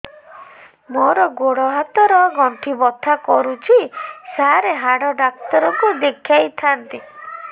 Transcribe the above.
ମୋର ଗୋଡ ହାତ ର ଗଣ୍ଠି ବଥା କରୁଛି ସାର ହାଡ଼ ଡାକ୍ତର ଙ୍କୁ ଦେଖାଇ ଥାନ୍ତି